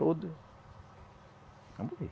Todo. Vamos ver.